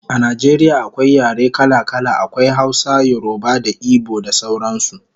A Najeriya akwai yare kala kala, akwai Hausa, yoruba da igbo da sauran su